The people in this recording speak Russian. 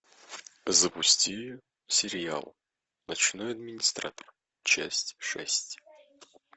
запусти сериал ночной администратор часть шесть